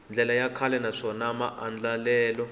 ndlela ya kahle naswona maandlalelo